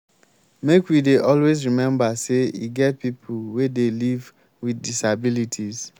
make we dey always rememba sey e get pipo wey dey live wit disabilities.